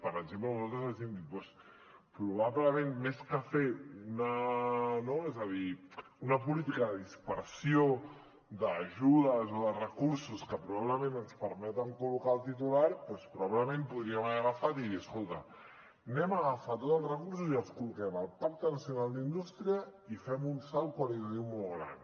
per exemple nosaltres els hem dit probablement més que fer una política de dispersió d’ajudes o de recursos que probablement ens permeten col·locar el titular doncs probablement podríem haver agafat i dir escolta agafem tots els recursos i els col·loquem al pacte nacional per a la indústria i fem un salt qualitatiu molt gran